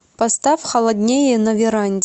поставь холоднее на веранде